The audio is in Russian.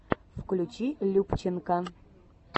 включи любченко